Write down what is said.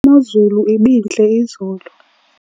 imozulu ibintle izolo